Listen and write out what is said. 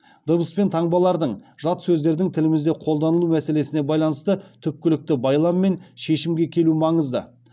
дыбыс пен таңбалардың жат сөздердің тілімізде қолданылуы мәселесіне байланысты түпкілікті байлам мен шешімге келу маңызды